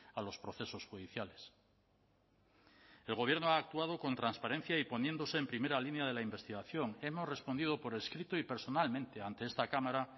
a los procesos judiciales el gobierno ha actuado con transparencia y poniéndose en primera línea de la investigación hemos respondido por escrito y personalmente ante esta cámara